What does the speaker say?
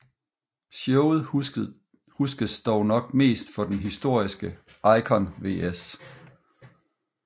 Showet huskes dog nok mest for den historiske Icon vs